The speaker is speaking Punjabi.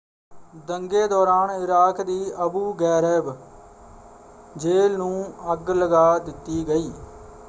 ਦੰਗੇ ਦੌਰਾਨ ਇਰਾਕ ਦੀ ਅਬੂ ਗ਼ੈਰੈਬ ਜੇਲ੍ਹ ਨੂੰ ਅੱਗ ਲੱਗਾ ਦਿੱਤੀ ਗਈ।